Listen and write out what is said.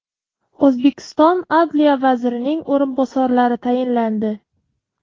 O‘zbekiston adliya vazirining o‘rinbosarlari tayinlandi.